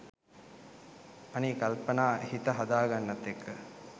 අනේ කල්පනා හිත හදා ගන්නත් එක්ක